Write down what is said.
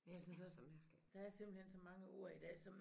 Men jeg synes også der er simpelthen så mange ord i dag som